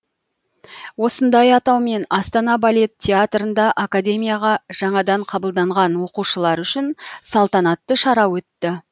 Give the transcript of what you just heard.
осындай атаумен астана балет театрында академияға жаңадан қабылданған оқушылар үшін салтанатты шара өтті